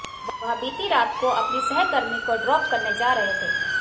वह बीती रात को अपनी सहकर्मी को ड्रॉप करने जा रहे थे